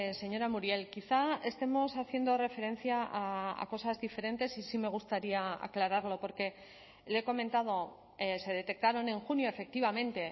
señora muriel quizá estemos haciendo referencia a cosas diferentes y sí me gustaría aclararlo porque le he comentado se detectaron en junio efectivamente